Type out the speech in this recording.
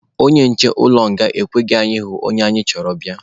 Onye nche ụlọ nga ekweghị anyị hụ onye anyị chọrọ bịa.